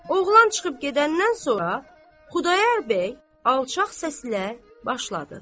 Oğlan çıxıb gedəndən sonra Xudayar bəy alçaq səslə başladı.